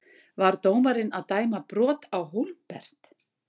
Var dómarinn að dæma brot Á Hólmbert?